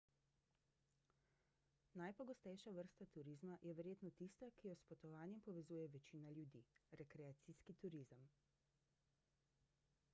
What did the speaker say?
najpogostejša vrsta turizma je verjetno tista ki jo s potovanjem povezuje večina ljudi rekreacijski turizem